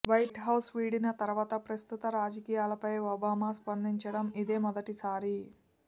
white House విడిచిన తర్వాత ప్రస్తుత రాజకీయాలపై ఒబామా స్పందించడం ఇదే మొదటిసారి